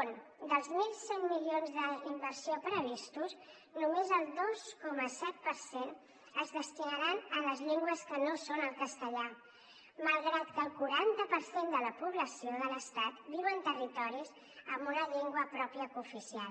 on dels mil cent milions d’inversió previstos només el dos coma set per cent es destinaran a les llengües que no són el castellà malgrat que el quaranta per cent de la població de l’estat viu en territoris amb una llengua pròpia cooficial